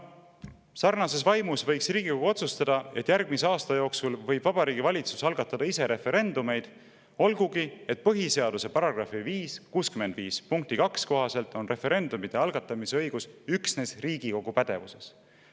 Sarnases vaimus võiks Riigikogu otsustada, et järgmise aasta jooksul võib Vabariigi Valitsus algatada ise referendumeid, olgugi et põhiseaduse § 65 punkti 2 kohaselt on referendumite algatamise õigus üksnes Riigikogu pädevuses.